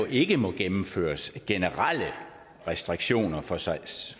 ikke må gennemføres generelle restriktioner for sejlads